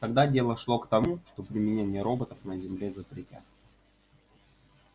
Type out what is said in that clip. тогда дело шло к тому что применение роботов на земле запретят